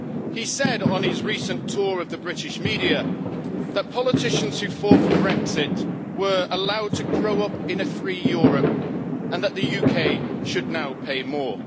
He said on his recent tour of the British media that politicians who fought for Brexit were allowed to grow up in a free Europe, and that the UK should now pay more.